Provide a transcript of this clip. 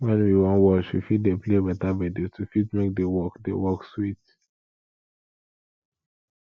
when we wan wash we fit dey play better gbedu to fit make di work di work sweet